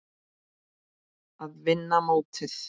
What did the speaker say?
Að vinna mótið?